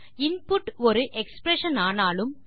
input ஒரு expression ஆனாலும்